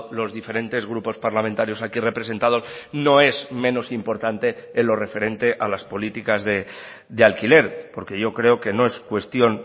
los diferentes grupos parlamentarios aquí representados no es menos importante en lo referente a las políticas de alquiler porque yo creo que no es cuestión